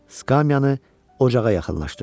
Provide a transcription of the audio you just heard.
Skamyəni ocağa yaxınlaşdırdı.